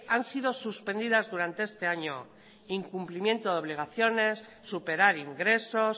han sido suspendidas durante este año incumplimiento de obligaciones superar ingresos